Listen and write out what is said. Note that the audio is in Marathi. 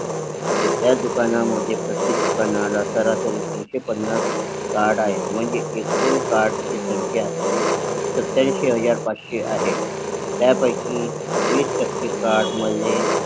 तर त्या दुकान मध्ये प्रत्येक दुकाना ला सरासरी तीनशेपन्नास कार्ड आहे म्हणजे एकूण कार्ड ची संख्या सत्याऐंशी हजार पाचशे आहे त्यापैकी वीस टक्के कार्ड मध्ये